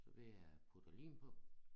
Så ved jeg putter lim på